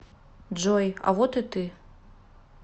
джой а вот и ты